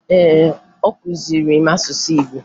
Ee, ọ kụziri m asụsụ Igbo